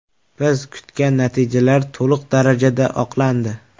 Biz kutgan natijalar to‘liq darajada oqlandi.